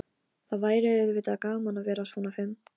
Gott ef ég verð ekki þrígiftur áður en yfir lýkur.